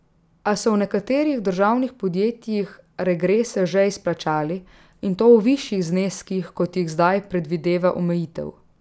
A so v nekaterih državnih podjetjih regrese že izplačali, in to v višjih zneskih, kot jih zdaj predvideva omejitev.